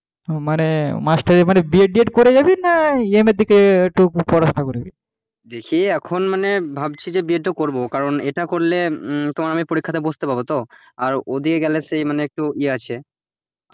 দেখি এখন মানে ভাবছি যে BED টা করব কারণ এটা করলে তোমার অনেক পরীক্ষাতে বসতে পাবো তো আর ওদিকে গেলে সেই মানে একটু ইয়ে আছে,